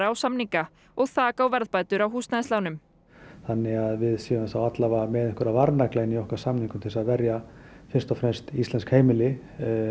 á samninga og þak á verðbætur á húsnæðislánum þannig að við séum þá alla vega með varnagla í okkar samningum til þess að verja fyrst og fremst íslensk heimili